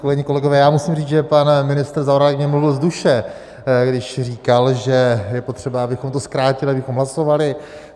Kolegyně, kolegové, já musím říct, že pan ministr Zaorálek mi mluvil z duše, když říkal, že je potřeba, abychom to zkrátili, abychom hlasovali.